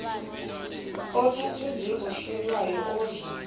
othathwa njengohlelwayo odla